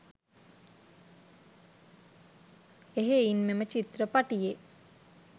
එහෙයින් මෙම චිත්‍රපටියේ